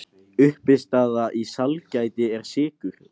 Uppistaða í sælgæti er sykur.